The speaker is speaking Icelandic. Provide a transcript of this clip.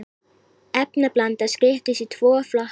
efnablanda skiptist í tvo flokka